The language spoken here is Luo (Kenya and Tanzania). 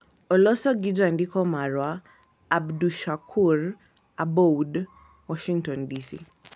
Oloso gi Jandiko marwa, Abdushakur Aboud, Washington, DC.